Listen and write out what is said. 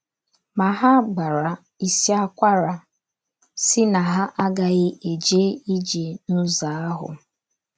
Ma, ha gbara isi akwara sị na ha agaghị eje ije n’ụzọ ahụ.